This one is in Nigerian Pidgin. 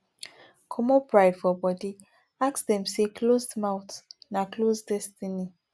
comot pride for body ask dem sey closed mouth na closed destiny